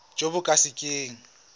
jo bo ka se keng